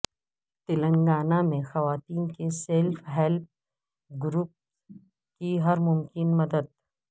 تلنگانہ میں خواتین کے سیلف ہیلپ گروپس کی ہر ممکنہ مدد